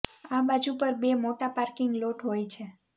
આ બાજુ પર બે મોટા પાર્કિંગ લોટ હોય છે